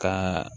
Ka